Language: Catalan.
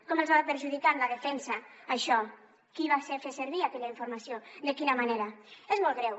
com ha perjudicat la defensa això qui va fer servir aquella informació de quina manera és molt greu